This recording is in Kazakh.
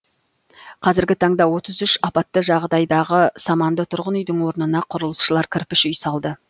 қазіргі таңда отыз үш апатты жағдайдағы саманды тұрғын үйдің орнына құрылысшылар кірпіш үй салды